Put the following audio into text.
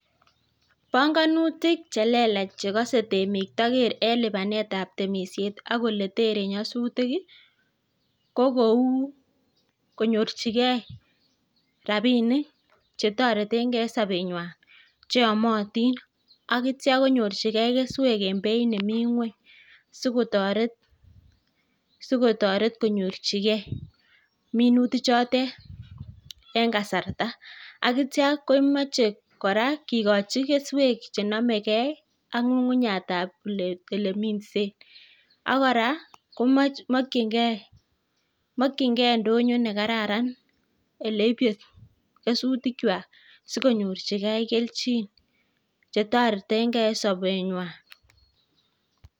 Banganutuk chelelach chekise temik toker en lipanetab temishet ak oletere nyasutik ii ko kou konyorchikei rabiniki chetoretenkei en sobenywan cheomotin ak akityo konyorchikei keswek en beit nemi ngweny sikotoret konyorchikei minutik chotet en kasarta akitya komoche kora kikochi keswek chenomekei ak ngungunyatab oleminsen ak kora komokyin kei indonyo nekararan oleibe kesutik chwak sikonyorchukei kelchin chetoretenkei en dobenywan.